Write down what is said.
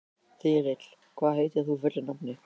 Þyrill, hvað heitir þú fullu nafni?